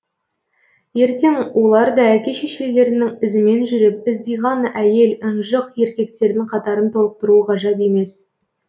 ертең олар да әке шешелерінің ізімен жүріп ыздиған әйел ынжық еркектердің қатарын толықтыруы ғажап емес